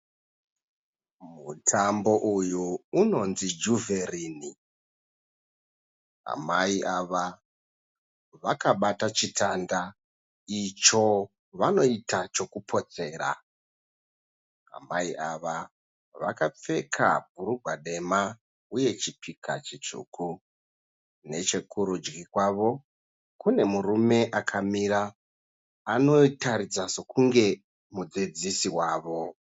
Mutambo uyu unonzi Juverini amai ava vakabata chitanda icho vanoita chokupotsera amai ava vakapfeka bhurugwa dema uye chipika chitsvuku neche kurudyi kwavo kune murume akamira anotaridza sokunge mudzidzisi wavo.